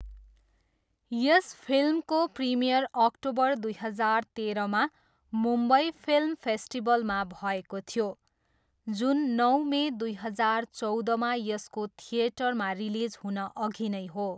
यस फिल्मको premiere October दुई हजार तेह्रमा मुम्बई फिल्म फेस्टिभलमा भएको थियो, जुन नौ मे दुई हजार चौधमा यसको थिएटरमा रिलिज हुनअघि नै हो।